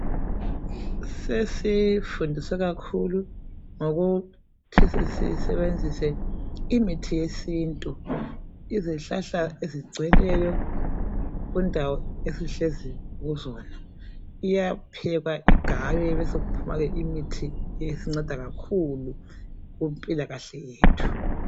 Sesifundise kakhulu ngokuthi sisebenzise imithi yesintu. Izihlahla ezigcweleyo kundawo esihlezi kuzona iyaphekwa igaywe besokuphuma ke imithi esinceda kakhulu kumpilakahle yethu.